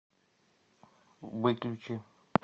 выключи